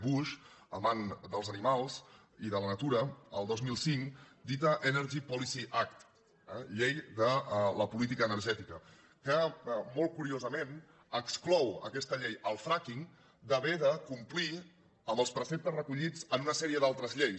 bush amant dels animals i de la natura el dos mil cinc dita energy policy act eh llei de la política energètica que molt curiosament exclou aquesta llei el fracking d’haver de complir amb els preceptes recollits en una sèrie d’altres lleis